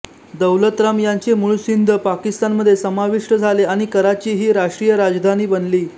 दौलतराम यांचे मूळ सिंध पाकिस्तानमध्ये समाविष्ट झाले आणी कराची ही राष्ट्रीय राजधानी बनली